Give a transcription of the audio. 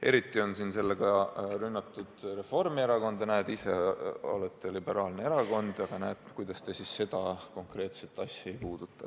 Eriti on sellega rünnatud Reformierakonda, et näete, ise olete liberaalne erakond, aga kuidas te siis seda konkreetset asja ei puuduta.